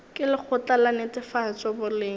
ke lekgotla la netefatšo boleng